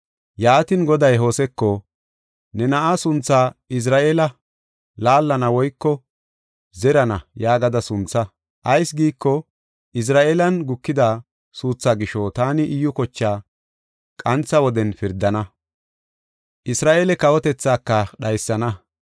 Yaatin, Goday Hoseko ne na7a suntha, “Izra7eele” (laallana woyko zerana) yaagada suntha. Ayis giiko, Izra7eelen gukida suuthaa gisho taani Iyyu kochaa qantha woden pirdana; Isra7eele kawotethaaka dhaysana.